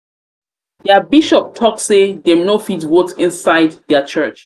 their bishop talk say say dem go fit vote inside their church